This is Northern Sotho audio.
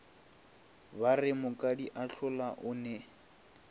ba re mokadiathola o ne